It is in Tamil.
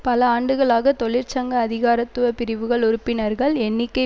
பல ஆண்டுகளாக தொழிற்சங்க அதிகாரத்துவ பிரிவுகள் உறுப்பினர்கள் எண்ணிக்கை